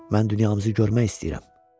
Mən dünyamızı görmək istəyirəm.